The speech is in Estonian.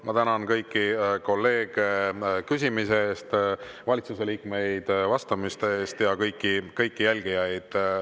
Ma tänan kõiki jälgijaid, kõiki kolleege küsimise eest ja valitsuse liikmeid vastamise eest.